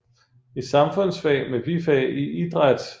I samfundsfag med bifag i idræt